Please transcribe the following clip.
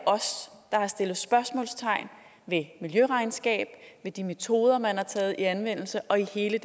os der spørgsmålstegn ved miljøregnskab ved de metoder man har taget i anvendelse og jo hele